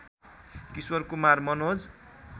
Kishore Kumar Manoj